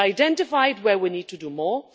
We identified where we need to do more.